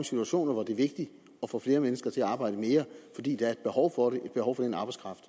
situationer hvor det er vigtigt at få flere mennesker til at arbejde mere fordi der er et behov for det et behov for den arbejdskraft